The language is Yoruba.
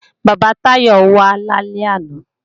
Bàbá Táyọ̀ wá lálẹ́ àná